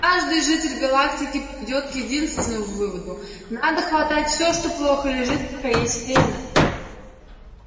каждый житель галактики придёт к единственному выводу надо хватать всё что плохо лежит пока есть время